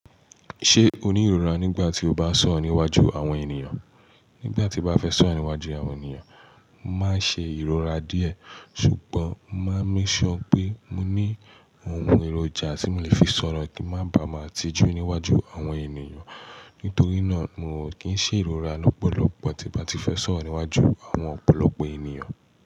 Ṣé o ní ìrora nígbà tí o bá sọ̀rọ̀ níwájú àwọn ènìyàn? Nígbà tí mo bá fẹ́ sọ̀rọ̀ níwájú àwọn ènìyàn, mo máa ń ṣe ìrora díẹ̀. Ṣùgbọ́n mo máa ń make sure pé mo ní awon èròjà tí mo lè fi sọ̀rọ̀ kí n má ba à má tijú níwájú àwọn ènìyàn. Nítorí náà, mi ò kí ń ṣe ìrora lọ́pọ̀lọpọ̀ tí mo bá ti fẹ́ sọ̀rọ̀ níwájú àwọn ọ̀pọ̀lọpọ̀ ènìyàn.